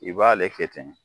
I b'ale kɛ ten